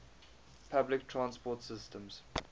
public transport systems